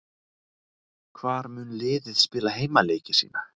Hvar mun liðið spila heimaleiki sína?